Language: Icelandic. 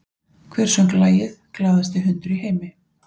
Hver söng lagið “Glaðasti hundur í heimi”?